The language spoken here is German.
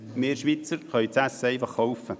wir Schweizer können das Essen einfach kaufen.